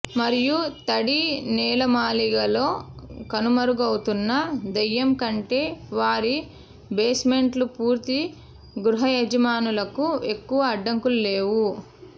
మరియు తడి నేలమాళిగలో కనుమరుగవుతున్న దెయ్యం కంటే వారి బేస్మెంట్ల పూర్తి గృహయజమానులకు ఎక్కువ అడ్డంకులు లేవు